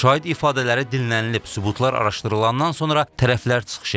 Şahid ifadələri dinlənilib, sübutlar araşdırılandan sonra tərəflər çıxış edib.